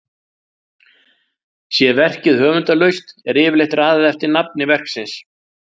Sé verkið höfundarlaust er yfirleitt raðað eftir nafni verksins.